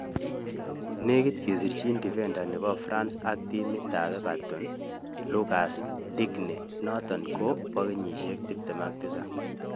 Negit kosirchin defender nepo france ak timit ap Everton lucas digne inoton kopo kenyisiek 27.